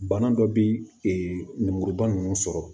Bana dɔ bɛ lemuruba ninnu sɔrɔ